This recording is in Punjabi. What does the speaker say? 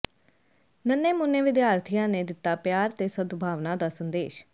ਨੰਨ੍ਹੇ ਮੁੰਨ੍ਹੇ ਵਿਦਿਆਰਥੀਆਂ ਨੇ ਦਿੱਤਾ ਪਿਆਰ ਤੇ ਸਦਭਾਵਨਾ ਦਾ ਸੰਦੇਸ਼